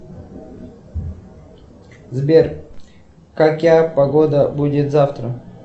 сбер какая погода будет завтра